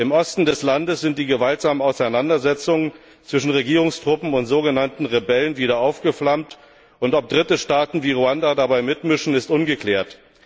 Im Osten des Landes sind die gewaltsamen Auseinandersetzungen zwischen Regierungstruppen und so genannten Rebellen wieder aufgeflammt, und ob dritte Staaten wie Ruanda dabei mitmischen, ist ungeklärt.